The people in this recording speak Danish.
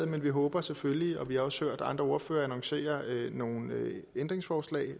men vi håber selvfølgelig vi har også hørt andre ordførere annoncere nogle ændringsforslag